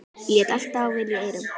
Lét allt dável í eyrum.